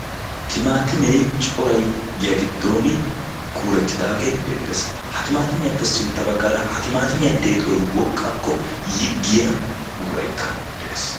Timaatimee corayi giya giddooni kuurettidaage beettes. Ha timaatimiyappe sintta baggaara ha timaatimiya deexoyi woqqakko yiggiya buqurayikka de"es.